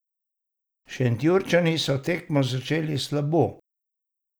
Šentjurčani so tekmo začeli slabo.